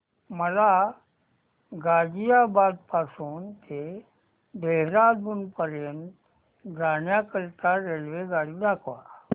मला गाझियाबाद पासून ते देहराडून पर्यंत जाण्या करीता रेल्वेगाडी दाखवा